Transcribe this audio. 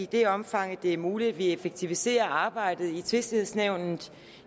det omfang det er muligt effektiviserer arbejdet i tvistighedsnævnet